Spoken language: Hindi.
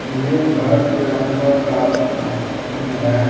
यह घर के अंदर का सीन है।